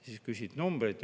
Siis küsiti numbreid.